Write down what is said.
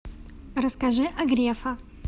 расскажи о грефа